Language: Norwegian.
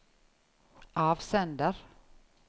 avsender